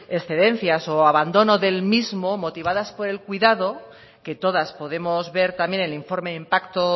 excedencias o abandono del mismo motivadas por el cuidado que todas podemos ver también el informe de impacto